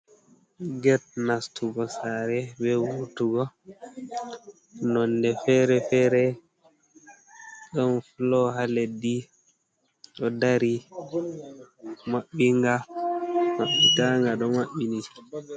Get nastugo sare be vurtugo nonde fere-fere, ɗon fulo ha leddi ɗo dari mabɓinga maitanga do mabɓini.